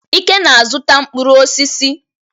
Ike na-azụta mkpụrụ osisi.